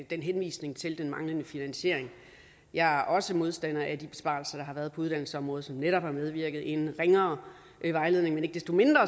i henvisningen til den manglende finansiering jeg er også modstander af de besparelser der har været på uddannelsesområdet som netop har medvirket til en ringere vejledning men ikke desto mindre